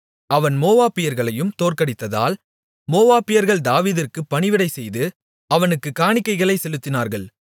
அவன் மோவாபியர்களையும் தோற்கடித்ததால் மோவாபியர்கள் தாவீதிற்கு பணிவிடை செய்து அவனுக்குக் காணிக்கைகளைச் செலுத்தினார்கள்